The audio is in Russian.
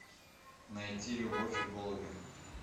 найти любовь и голуби